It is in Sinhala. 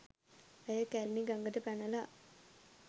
ඇය කැලණි ගඟට පැනලා